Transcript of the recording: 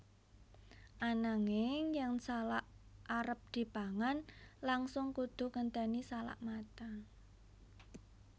Ananging yen salak arep dipangan langsung kudu ngenténi salak mateng